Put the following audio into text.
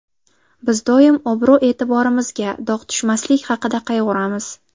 Biz doim obro‘-e’tiborimizga dog‘ tushmaslik haqida qayg‘uramiz.